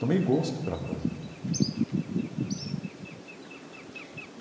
Tomei gosto pela coisa. Uhum.